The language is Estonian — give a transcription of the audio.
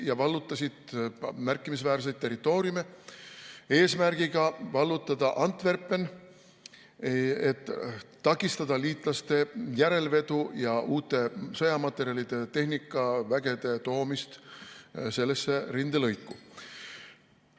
Nad vallutasid märkimisväärseid territooriume, eesmärk oli vallutada Antwerpen, et takistada liitlaste järelvedu ja uute sõjamaterjalide ja tehnikavägede toomist sellesse rindelõiku.